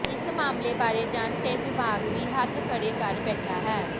ਇਸ ਮਾਮਲੇ ਬਾਰੇ ਜਨ ਸਿਹਤ ਵਿਭਾਗ ਵੀ ਹੱਥ ਖੜ੍ਹੇ ਕਰੀ ਬੈਠਾ ਹੈ